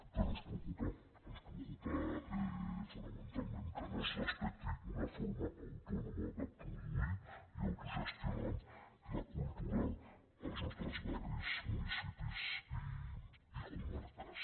però ens preocupa ens preocupa fonamentalment que no es respecti una forma autònoma de produir i autogestionar la cultura als nostres barris municipis i comarques